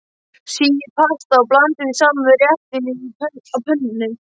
Síið pastað og blandið því saman við réttinn á pönnunni.